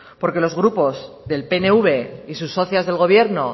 porque los grupos del pnv y sus socias del gobierno